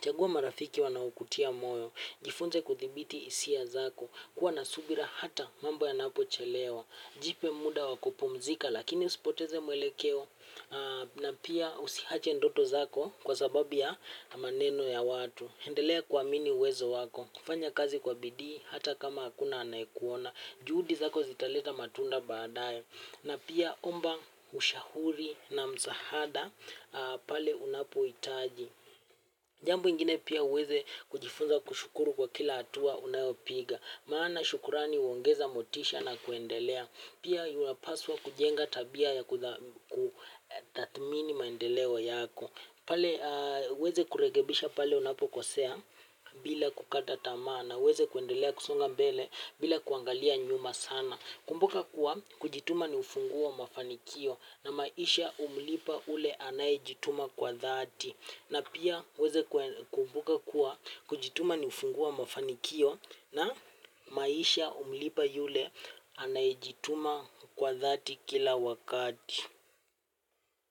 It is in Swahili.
Chagua marafiki wanaokutia moyo. Jifunze kudhibiti hisia zako. Kuwa na subira hata mambo yanapo chelewa. Jipe muda wa kupumzika lakini usipoteze mwelekeo na pia usiache ndoto zako kwa sababu ya maneno ya watu. Endelea kuamini uwezo wako. Kufanya kazi kwa bidii hata kama hakuna anayekuona. Juhudi zako zitaleta matunda baadaye. Na pia omba ushahuri na msahada pale unapo itaji. Jambo ingine pia uweze kujifunza kushukuru kwa kila atua unayopiga. Maana shukurani huongeza motisha na kuendelea. Pia unapaswa kujenga tabia ya kutathmini maendeleo yako. Pale uweze kurekebisha pale unapo kosea bila kukata tama na uweze kuendelea kusonga mbele bila kuangalia nyuma sana. Kumbuka kuwa kujituma ni ufunguo wa mafanikio na maisha humlipa ule anayijituma kwa dhati. Na pia uweze kumbuka kuwa kujituma ni ufunguo wa mafanikio na maisha humlipa ule anayijituma kwa dhati kila wakati.